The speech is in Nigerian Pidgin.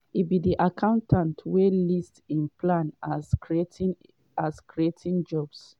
e be accountant wey list im plan as creating as creating jobs.